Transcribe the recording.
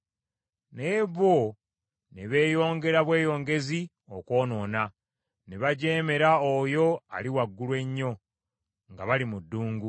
Naye bo ne beeyongera bweyongezi okwonoona, ne bajeemera Oyo Ali Waggulu Ennyo nga bali mu ddungu.